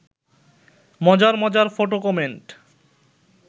মজার মজার photo comment